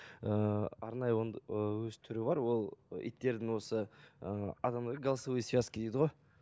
ііі арнайы ы өз түрі бар ол иттердің осы ы адамда голосовой связка дейді ғой